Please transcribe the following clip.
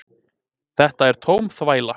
Þetta er tóm þvæla